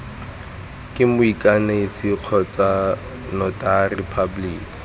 ke moikanisi kgotsa notary public